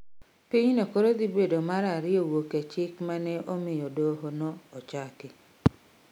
Pinyno koro dhi bedo mar ariyo wuoke chik mane omiyo doho no ochaki